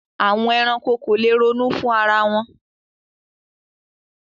Àwọn ẹranko ko lè ronú fún ara wọn.